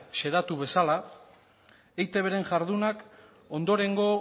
xedatu bezala eitbren jardunak ondorengo